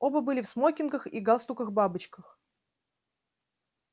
оба были в смокингах и галстуках-бабочках